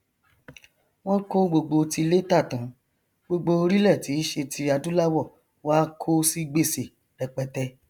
wọn kó gbogbo tilé tà tán gbogbo orílẹ tí í ṣe ti adúláwọ wá kó si gbèsè rẹpẹtẹ